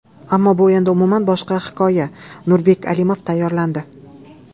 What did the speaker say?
Ammo bu endi umuman boshqa hikoya... Nurbek Alimov tayyorlandi.